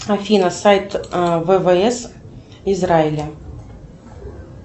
афина сайт ввс израиля